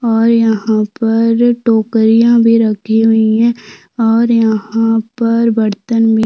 और यहाँ पर टोकरियाँ भी रखी हुई हैं और यहाँ पर बर्तन भी --